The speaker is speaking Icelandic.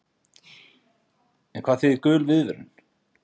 En hvað þýðir gul viðvörun?